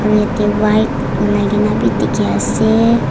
yate white ulai ke na bhi dikhi ase.